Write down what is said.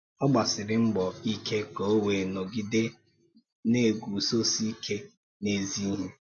Ọ̀ gbasìrì mbọ̀ íké ka ò wéé nògìdé na-egùzósì íké n’ézì íhè.